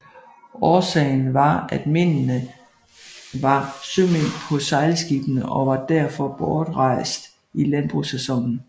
Årsagen var at mændene var sømænd på sejlskibene og var derfor bortrejst i landbrugssæsonen